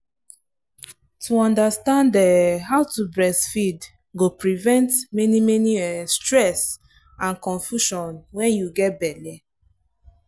to understand um how to breastfeed go prevent many many um stress and confusion when you get belle.